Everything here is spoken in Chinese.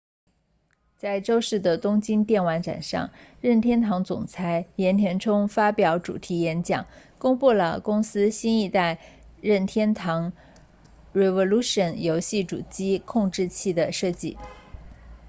在周四的东京电玩展上任天堂总裁岩田聪发表主题演讲公布了公司新一代任天堂 revolution 游戏主机控制器的设计